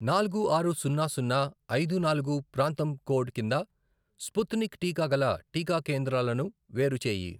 నాలుగు, ఆరు, సున్నా, సున్నా, ఐదు, నాలుగు, ప్రాంతం కోడ్ కింద స్పుత్నిక్ టీకా గల టీకా కేంద్రాలను వేరుచేయి.